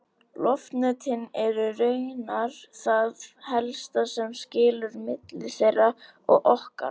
Loftnetin eru raunar það helsta sem skilur milli þeirra og okkar!